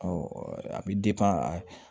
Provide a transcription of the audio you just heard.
a bɛ